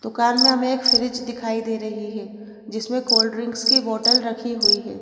दुकान में हमें एक फ्रिज दिखाई दे रही है जिसमें कोल्ड ड्रिंक्स की बोतल रखी हुई हैं।